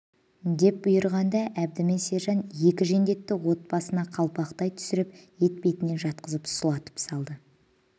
деп бұйырғанда әбді мен сержан екі жендетті от басына қалпақтай түсіріп етпетінен жатқызып сұлатып салды